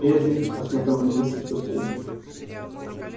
бедренец посмотрел на меня с сочувствием